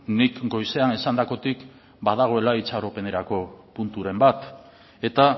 nik goizean esandakotik badagoela itxaropenerako punturen bat eta